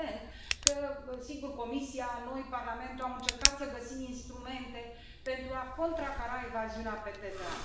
Evident că, sigur, Comisia, noi, Parlamentul, am încercat să găsim instrumente pentru a contracara evaziunea pe TVA.